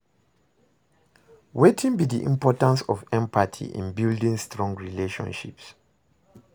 Wetin be di importance of empathy in building strong relationships?